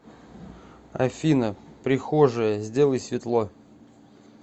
афина прихожая сделай светло